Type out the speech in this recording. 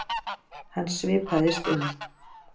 Hann svipaðist um.